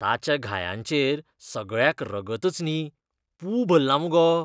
ताच्या घायांचेर सगळ्याक रगतच न्ही, पूं भल्ला मगो.